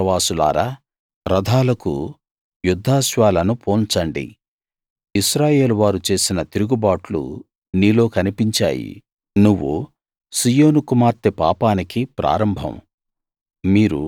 లాకీషు పురవాసులారా రథాలకు యుద్ధాశ్వాలను పూన్చండి ఇశ్రాయేలు వారు చేసిన తిరుగుబాట్లు నీలో కనిపించాయి నువ్వు సీయోను కుమార్తె పాపానికి ప్రారంభం